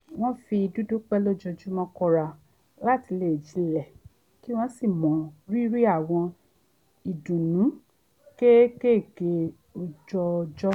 wọ́n fi dídúpẹ́ lójoojúmọ́ kọ́ra láti le jinlẹ̀ kí wọ́n sì mọ rírì àwọn ìdùnnú kéékèèké ọjọọjọ́